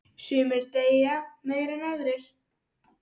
Sumir deyja meira en aðrir.